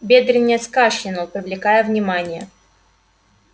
бедренец кашлянул привлекая внимание